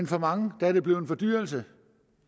for mange blevet en fordyrelse